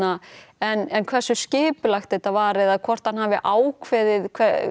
en hversu skipulagt þetta var eða hvort hann hafi ákveðið